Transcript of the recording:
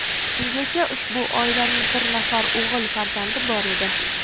Bungacha ushbu oilaning bir nafar o‘g‘il farzandi bor edi.